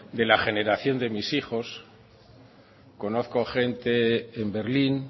de la generación de mis hijos conozco a gente en berlín